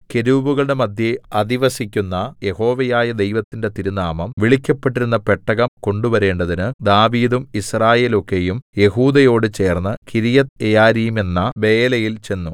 കെരൂബുകളുടെ മദ്ധ്യേ അധിവസിക്കുന്ന യഹോവയായ ദൈവത്തിന്റെ തിരുനാമം വിളിക്കപ്പെടുന്ന പെട്ടകം കൊണ്ടുവരേണ്ടതിന് ദാവീദും യിസ്രായേലൊക്കെയും യെഹൂദയോടു ചേർന്ന് കിര്യത്ത്യെയാരീമെന്ന ബയലയിൽ ചെന്നു